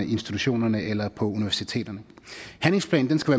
institutionerne eller universiteterne handlingsplanen skal